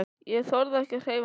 Ég þorði ekki að hreyfa mig.